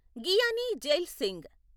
Giani Zail Singh